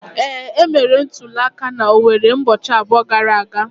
Ee, e mere ntuli aka na Owerre ụbọchị abụọ gara aga.